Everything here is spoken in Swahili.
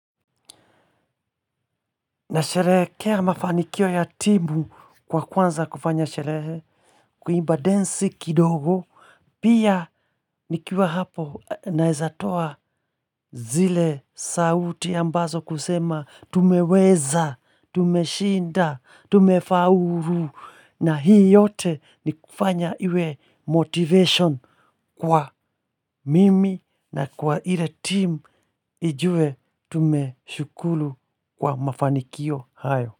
Nasherehekea mafanikio ya timu kwa kwanza kufanya sherehe, kuimba densi kidogo, pia nikiwa hapo naweza toa zile sauti ambazo kusema tumeweza, tumeshinda, tumefaulu, na hii yote ni kufanya iwe motivation kwa mimi na kwa ile timu ijue tumeshukuru kwa mafanikio hayo.